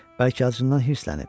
Bəlkə acından hirslənib?